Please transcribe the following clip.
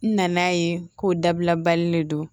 N nana ye k'o dabila bali le don